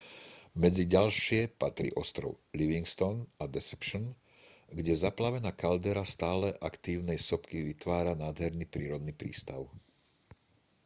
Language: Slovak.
medzi ďalšie patrí ostrov livingston a deception kde zaplavená kaldera stále aktívnej sopky vytvára nádherný prírodný prístav